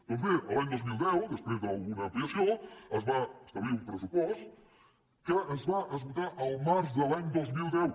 doncs bé l’any dos mil deu després d’una ampliació es va establir un pressupost que es va esgotar el març de l’any dos mil deu